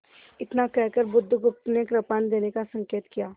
इतना कहकर बुधगुप्त ने कृपाण देने का संकेत किया